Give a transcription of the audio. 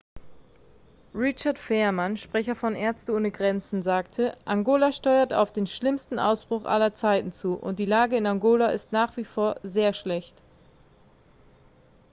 richard veerman sprecher von ärzte ohne grenzen sagte angola steuert auf den schlimmsten ausbruch aller zeiten zu und die lage in angola ist nach wie vor sehr schlecht